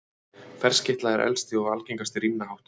Ferskeytla er elsti og algengasti rímnahátturinn.